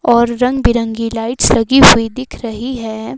और रंग बिरंगी लाइट्स लगी हुई दिख रही है।